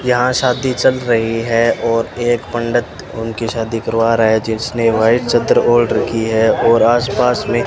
यहां शादी चल रही है और एक पंडित उनकी शादी करवा रहा है जिसने व्हाइट चद्दर ओढ़ रखी है और आस पास में --